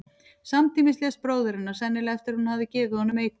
Samtímis lést bróðir hennar, sennilega eftir að hún hafði gefið honum eitur.